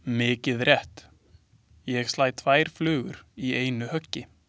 Mikið rétt, ég slæ tvær flugur í einu höggi.